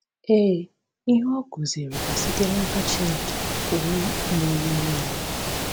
Ee, ihe ọ kụziiri bụ site n’aka Chineke Pụrụ Ime Ihe Niile.